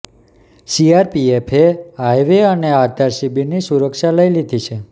સીઆરપીએફએ highway અને આધાર શિબિરની સુરક્ષા લઈ લીધી છે